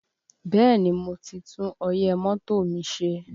Bẹ́ẹ̀ni, mo ti tún ọyẹ́ mọ́tò mi ṣe